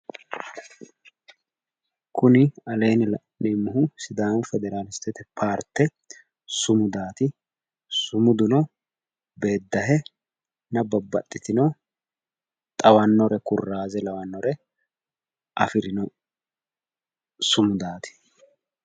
Kunni aleenni la'neemohu sidaamu federaalistete paarte sumudati sumuduno beedahenna babbaxitino xawanore kuraaze lawanore afirino sumudaati.